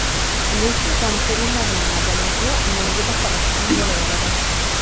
Lekin tomoshabinlarning madaniyatini nolga baholasa ham bo‘laveradi.